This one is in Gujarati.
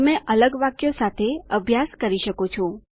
તમે અલગ વાક્યો સાથે અભ્યાસ કરી શકો છો